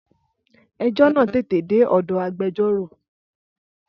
Ẹjọ́ náà tètè dé ọ̀dọ̀ agbẹjọ́rò.